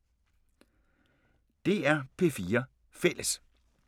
DR P4 Fælles